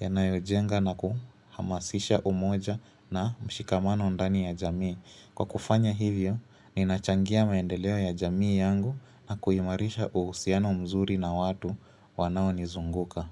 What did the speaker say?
yanayojenga na kuhamasisha umoja na mshikamano ndani ya jamii. Kwa kufanya hivyo, ninachangia maendeleo ya jamii yangu na kuhimarisha uhusiano mzuri na watu wanaonizunguka.